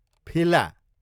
फिला